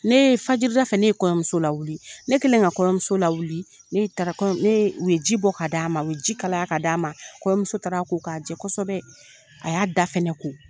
Ne fajida ne ye kɔɲɔmuso lawuli ne kƐlen ka kɔɲɔmuso lawuli ne ye u ye ji bɔ ka d'a ma ye ji kalaya ka d'a ma kɔɲɔmuso taara a ko k'a jɛ kosɛbɛ a y'a da fana ko